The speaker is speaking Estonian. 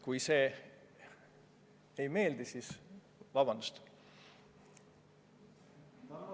Kui see ei meeldi, siis palun vabandust!